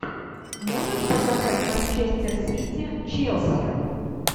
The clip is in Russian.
можешь показать манчестер сити челси